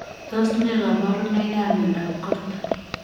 Tos nee kabarunoik ap Miondop Korton ?